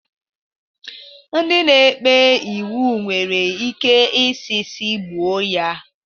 Ndị na-ekpe iwu nwere ike isi si gbuo ya.